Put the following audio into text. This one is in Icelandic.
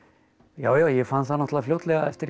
já já ég fann það náttúrulega fljótlega eftir